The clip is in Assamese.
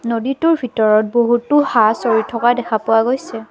নদীটোৰ ভিতৰত বহুতো হাঁহ চৰি থকা দেখা পোৱা গৈছে।